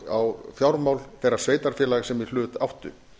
á fjármál þeirra sveitarfélaga sem í hlut áttu